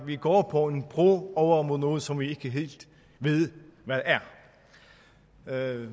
vi går på en bro over mod noget som vi ikke helt ved hvad